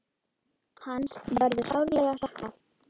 Hans verður sárlega saknað.